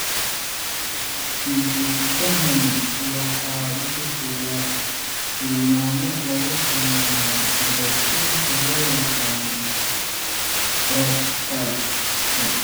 Hidde-sidahani waxa uu bixiyaa tilmaamo lagu sameeyo borotiinka loo yaqaan frataxin.